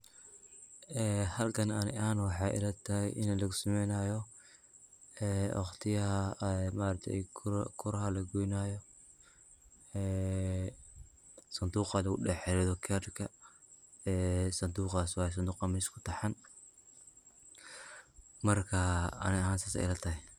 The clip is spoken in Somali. Halkan ani ahaan waxay ilatahay inii lugusameynayo waqtiyada maaragte kuraha lagoynayo oo sanduqa lugudhexrido karka waye sanduqa meeshan kutaxan marka ani ahaan sidas ayey ilatahay.